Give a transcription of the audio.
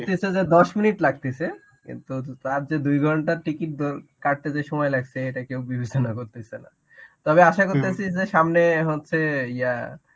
দশ minute লাগতেছে. কিন্তু তার যে দুই ঘণ্টার টিকিট ধর~ কাটতে যে সময় লাগছে এটা কেউ বিবেচনা করতেছে না . তবে আশা করতাছি যে সামনে হচ্ছে ইয়া